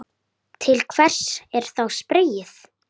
Til hvers er þá spreyið?